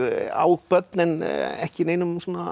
á börn en ekki í neinum